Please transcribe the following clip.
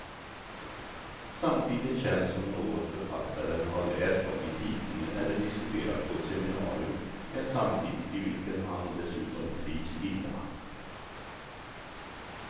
Samtiden känns som något författaren har läst om i tidningen eller diskuterat på ett seminarium, en samtid i vilken han dessutom trivs illa.